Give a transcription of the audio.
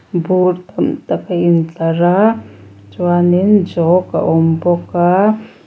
bur tam tak a intlar a chuanin jawk a awm bawk a.